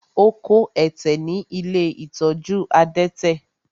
Ó kó ẹ̀tẹ̀ ní ilé ìtọ́jú adẹ́tẹ̀.